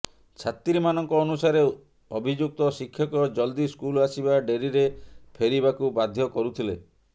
ଛାତ୍ରୀମାନଙ୍କ ଅନୁସାରେ ଅଭିଯୁକ୍ତ ଶିକ୍ଷକ ଜଲଦି ସ୍କୁଲ ଆସିବା ଡେରିରେ ଫେରିବାକୁ ବାଧ୍ୟ କରୁଥିଲେ